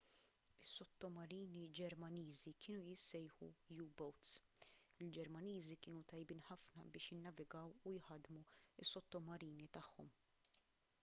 is-sottomarini ġermaniżi kienu jissejħu u-boats il-ġermaniżi kienu tajbin ħafna biex jinnavigaw u jħaddmu s-sottomarini tagħhom